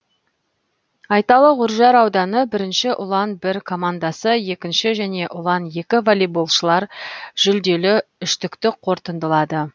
айталық үржар ауданы бірінші ұлан бір командасы екінші және ұлан екі волейболшылар жүлделі үштікті қорытындылады